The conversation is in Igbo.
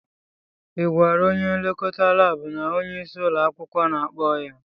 Ị gwara onye nlekọta laabụ na onyeisi ụlọ akwụkwọ na-akpọ ya?